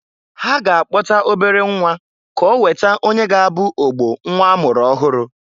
Ha ga akpọta obere nnwa ka oweta onye ga-abụ ogbo nnwa a mụrụ ọhụrụ.